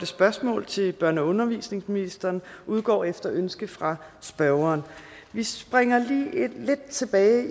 spørgsmål til børne og undervisningsministeren udgår efter ønske fra spørgeren vi springer lige lidt tilbage